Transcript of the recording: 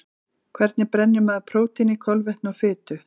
Hvernig brennir maður prótíni, kolvetni og fitu?